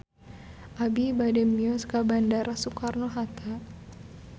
Abi bade mios ka Bandara Soekarno Hatta